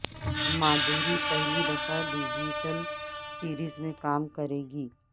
مادھوری پہلی دفعہ digital series میں کام کریں گی